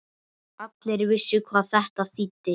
Allir vissu hvað það þýddi.